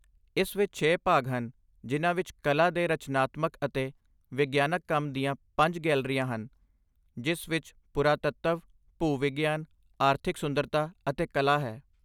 ਇਸ ਵਿੱਚ ਛੇ ਭਾਗ ਹਨ ਜਿਨ੍ਹਾਂ ਵਿੱਚ ਕਲਾ ਦੇ ਰਚਨਾਤਮਕ ਅਤੇ ਵਿਗਿਆਨਕ ਕੰਮ ਦੀਆਂ ਪੰਜ ਗੈਲਰੀਆਂ ਹਨ, ਜਿਸ ਵਿੱਚ ਪੁਰਾਤੱਤਵ, ਭੂ ਵਿਗਿਆਨ, ਆਰਥਿਕ ਸੁੰਦਰਤਾ ਅਤੇ ਕਲਾ ਹੈ